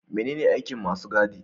Menene aikin masu gadi?